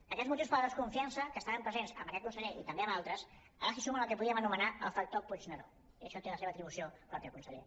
a aquests motius per la desconfiança que estaven presents amb aquest conseller i també amb altres ara s’hi suma el que en podríem anomenar el factor puigneró i en això té la seva atribució pròpia conseller